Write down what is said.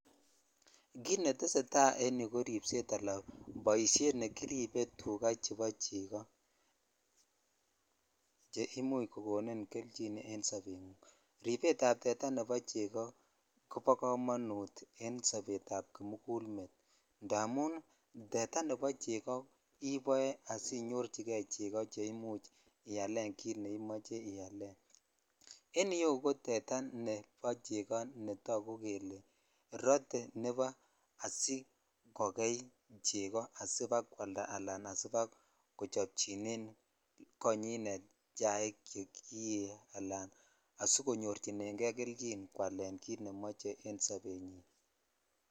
Kut netesetai en yuu ko baet ab tetaa nekiriibee teta nebo cheko(puse) che imuch kokonin kelyiin en sobngung ripet tetaa nebo chekob kobo komonut en sobet ak kimukul met aketugul indamun tetaa nebo cheko iboe asinyorchike cheko chebimuch ialen kit neimoche kwalen en sobenyin.